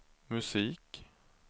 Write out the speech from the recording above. musik